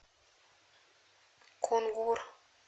кунгур